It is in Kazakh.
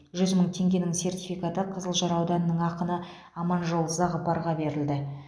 жүз мың теңгенің сертификаты қызылжар ауданының ақыны аманжол зағыпарға берілді